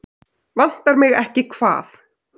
Vantar mig ekki hvað?